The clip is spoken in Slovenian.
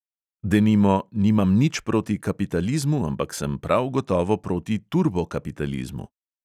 Denimo: nimam nič proti kapitalizmu, ampak sem prav gotovo proti turbokapitalizmu.